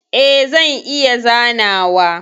E, zan iya zanawa.